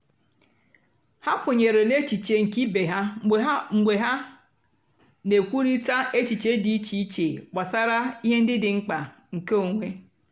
ha kwènyèrè n'èchìchè nkè ìbè ha mgbe ha mgbe ha na-èkwùrị̀ta èchìchè dị́ ìchè ìchè gbàsàrà ihe ndí dị́ mkpá nkè onwé.